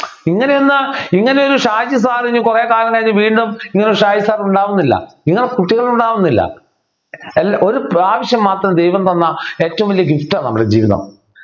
ഇങ്ങനെയൊന്നു ഇങ്ങനെയൊരു കുറെ കാലം കഴിഞ്ഞ് വീണ്ടും ഇങ്ങനൊരു ഷാജി sir ഉണ്ടാകുന്നില്ല നിങ്ങള് കുട്ടികൾ ഉണ്ടാകുന്നില്ല എല്ലാ ഒരു പ്രാവശ്യം മാത്രം ദൈവം തന്ന ഏറ്റവും വലിയ ഗിഫ്റ്റ് ആണ് നമ്മുടെ ജീവിതം